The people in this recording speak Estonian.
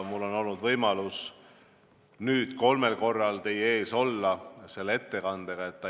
Mul on olnud võimalus kolmel korral teie ees selle ettekandega olla.